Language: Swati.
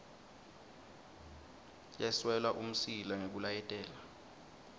yeswela umsila ngekulayetela